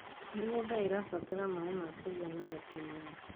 mĩgũnda irabatara maĩ ma kũigana o kĩmera